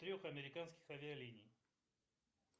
трех американских авиалиний